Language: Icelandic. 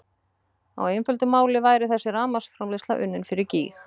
Á einföldu máli væri þessi rafmagnsframleiðsla unnin fyrir gýg!